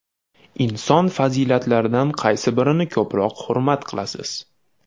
Inson fazilatlaridan qaysi birini ko‘proq hurmat qilasiz?